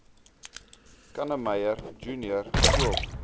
kannemeyer junior skool